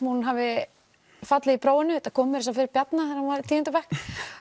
hún hafi fallið í prófinu þetta kom meira að segja fyrir Bjarna þegar hann var í tíunda bekk